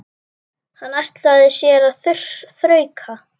Hann ætlaði sér að þrauka.